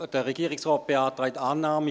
Der Regierungsrat beantragt Annahme.